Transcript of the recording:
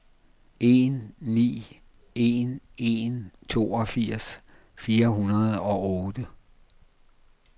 en ni en en toogfirs fire hundrede og otte